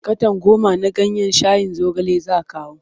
Katon goma na ganyen shayin zogale za kawo.